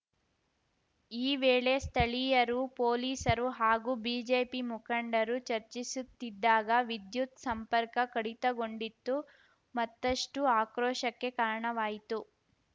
ಈ ವೇಳೆ ಸ್ಥಳೀಯರು ಪೊಲೀಸರು ಹಾಗೂ ಬಿಜೆಪಿ ಮುಖಂಡರು ಚರ್ಚಿಸುತ್ತಿದ್ದಾಗ ವಿದ್ಯುತ್‌ ಸಂಪರ್ಕ ಕಡಿತಗೊಂಡಿತ್ತು ಮತ್ತಷ್ಟುಆಕ್ರೋಶಕ್ಕೆ ಕಾರಣವಾಯಿತು